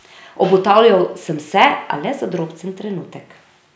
Obotavljal sem se, a le za drobcen trenutek.